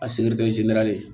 A